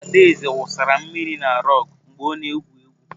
Adaeze wụsara mmiri na rụgu mgbe ọ na-egwu egwu.